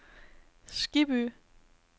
Skibby